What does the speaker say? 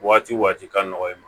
Waati waati ka nɔgɔn i ma